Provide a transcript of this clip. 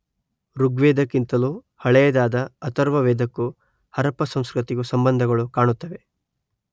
ಋಗ್ವೇದಕ್ಕಿಂತಲೂ ಹಳೆಯದಾದ ಅಥರ್ವವೇದಕ್ಕೂ ಹರಪ್ಪ ಸಂಸ್ಕೃತಿಗೂ ಸಂಬಂಧಗಳು ಕಾಣುತ್ತವೆ.